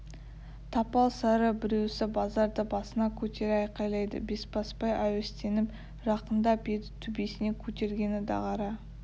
тапал сары біреусі базарды басына көтере айқайлайды бесбасбай әуестеніп жақындап еді төбесіне көтергені дағара